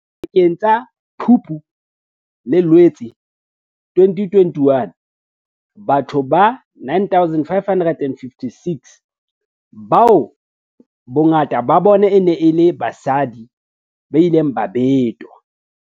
Pakeng tsa Phupu le Loetse 2021, batho ba 9 556, bao bongata ba bona e neng e le basadi, ba ile ba betwa.